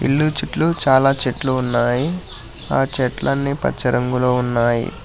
ఎన్నో చెట్లు చాలా చెట్లు ఉన్నాయి ఆ చెట్లన్నీ పచ్చ రంగులో ఉన్నాయి.